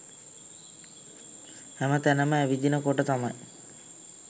හැම තැනම ඇවිදින කොට තමයි